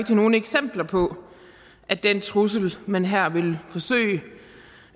har nogen eksempler på at den trussel man her vil forsøge